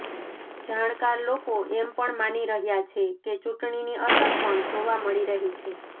જાણકાર લોકો એમ પણ માની રહ્યા છે કે ચુંટણીની અસર પણ જોવા મળી રહી છે